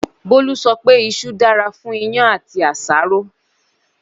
Bólú sọ pé iṣu dára fún iyán àti àṣáró.